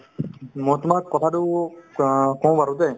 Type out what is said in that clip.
মই তোমাক কথাতো অ কওঁ বাৰু দেই